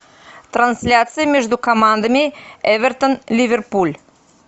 трансляция между командами эвертон ливерпуль